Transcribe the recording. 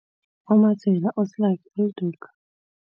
UMadzela, uSlaki uLduka.